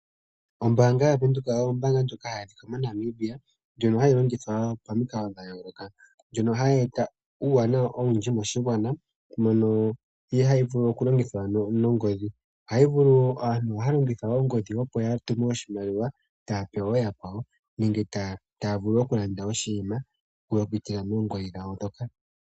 Ombaanga yaVenduka oyo ombaanga ndjoka hayi adhika moNamibia ndjono hayi longithwa pamikalo dha yooloka, ndjono hayi eta uuwanawa owindji moshigwana mono hayi vulu okulongithwa nongodhi. Aantu ohaya longitha ongodhi opo ya tume oshimaliwa taa pe ooyakwawo nenge taa vulu okulanda oshinima okupitila moongodhi dhawo moka.